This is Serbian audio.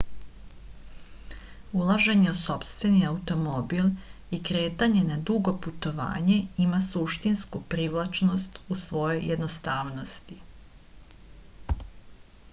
ulaženje u sopstveni automobil i kretanje na dugo putovanje ima suštinsku privlačnost u svojoj jednostavnosti